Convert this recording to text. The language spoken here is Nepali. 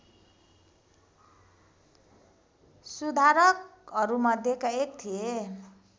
सुधारकहरूमध्येका एक थिए